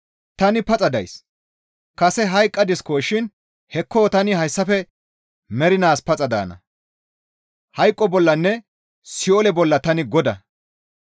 Tani paxa days. Kase hayqqadiskoshin hekko tani hayssafe mernaas paxa daana; hayqo bollanne Si7oole bolla tani Godaa.